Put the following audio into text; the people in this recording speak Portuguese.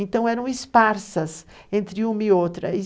Então eram esparsas entre uma e outra.